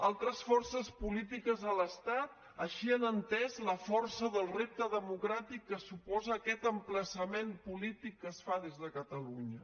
altres forces polítiques a l’estat així han entès la força del repte democràtic que suposa aquest emplaçament polític que es fa des de catalunya